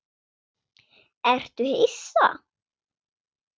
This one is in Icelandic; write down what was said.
Ertu hissa?